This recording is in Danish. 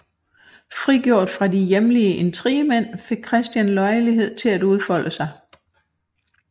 Frigjort fra de hjemlige intrigemænd fik Christian lejlighed til at udfolde sig